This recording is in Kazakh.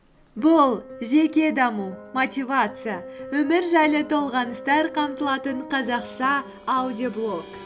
бұл жеке даму мотивация өмір жайлы толғаныстар қамтылатын қазақша аудиоблог